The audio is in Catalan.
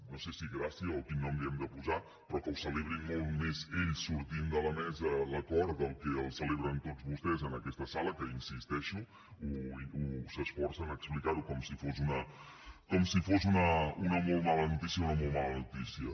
no sé si gràcia o quin nom li hem de posar però que ho celebrin molt més ells sortint de la mesa l’acord del que el celebren tots vostès en aquesta sala que hi insisteixo s’esforcen a explicar ho com si fos una molt mala notícia una molt mala notícia